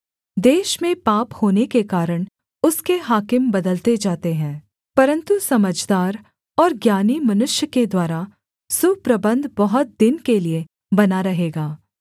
देश में पाप होने के कारण उसके हाकिम बदलते जाते हैं परन्तु समझदार और ज्ञानी मनुष्य के द्वारा सुप्रबन्ध बहुत दिन के लिये बना रहेगा